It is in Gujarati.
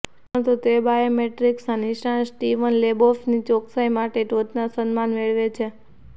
પરંતુ તે બાયોમેટ્રિક્સના નિષ્ણાત સ્ટીવન લેબોફની ચોકસાઈ માટે પણ ટોચના સન્માન મેળવે છે